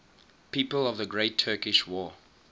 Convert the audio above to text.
people of the great turkish war